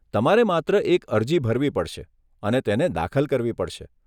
તમારે માત્ર એક અરજી ભરવી પડશે અને તેને દાખલ કરવી પડશે.